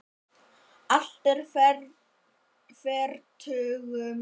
Allt er fertugum fært